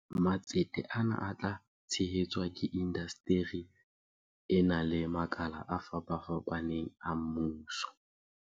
Matsete ana a tla tshehe tswa ke indasteri ena le makala a fapafapaneng a mmuso.